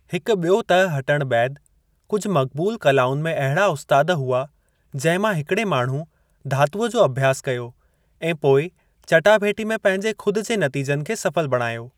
हिकु बि॒यो तह हटणु बैदि, कुझु मक़बूलु कलाउनि में अहिड़ा उस्तादु हुआ जिंहिं मां हिकिड़े माण्हू धातूअ जो अभ्यासु कयो ऐं पोइ चटाभेटी में पंहिंजे ख़ुद जे नतीजनि खे सफ़ल बणायो।